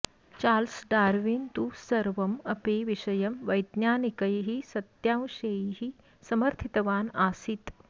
Charles Darwin तु सर्वम् अपि विषयं वैज्ञानिकैः सत्यांशैः समर्थितवान् आसीत्